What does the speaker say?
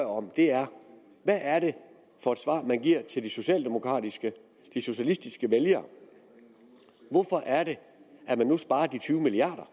om er hvad er det for et svar man giver til de socialdemokratiske de socialistiske vælgere hvorfor er det at man nu sparer de tyve milliard